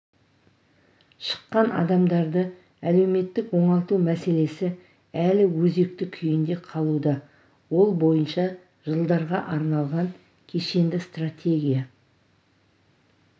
шыққан адамдарды әлеуметтік оңалту мәселесі әлі өзекті күйінде қалуда ол бойынша жылдарға арналған кешенді стратегия